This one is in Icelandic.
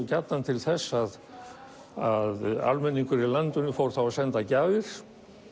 gjarnan til þess að almenningur í landinu fór þá að senda gjafir